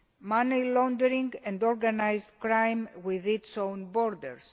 money laundering and organised crime within its own borders.